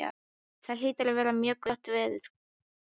Það hlýtur að vera mjög gott veður.